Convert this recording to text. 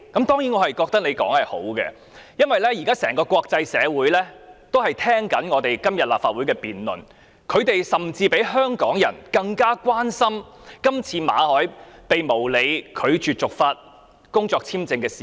當然，我覺得他發言是好的，因為國際社會都在聆聽今天立法會的辯論，他們甚至比香港人更關心馬凱被無理拒絕續發工作簽證的事件。